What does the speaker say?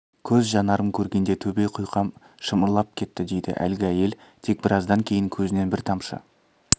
көз жанарын көргенде төбе құйқам шымырлап кетті дейді әлгі әйел тек біраздан кейін көзінен бір тамшы